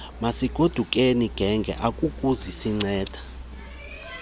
masigodukeni genge akuzukusinceda